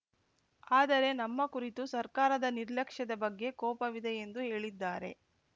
ಆದರೆ ನಮ್ಮ ಕುರಿತು ಸರ್ಕಾರದ ನಿರ್ಲಕ್ಷ್ಯದ ಬಗ್ಗೆ ಕೋಪವಿದೆ ಎಂದು ಹೇಳಿದ್ದಾರೆ